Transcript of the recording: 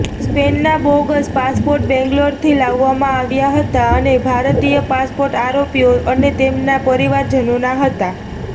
સ્પેનના bogus passport બેંગ્લોરથી લાવવામાં આવ્યા હતા અને ભારતીય પાસપોર્ટ આરોપીઓ અને તેમના પરિવારજનોના હતા